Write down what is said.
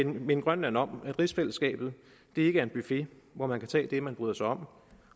minde grønland om at rigsfællesskabet ikke er en buffet hvor man kan tage det man bryder sig om